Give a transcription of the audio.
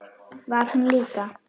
Var hún líka?